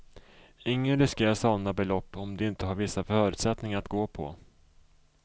Ingen riskerar sådana belopp om de inte har vissa förutsättningar att gå på.